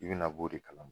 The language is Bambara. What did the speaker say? I bɛna b'o de kalama